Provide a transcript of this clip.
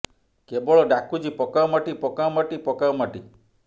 କେବଳ ଡାକୁଛି ପକାଅ ମାଟି ପକାଅ ମାଟି ପକାଅ ମାଟି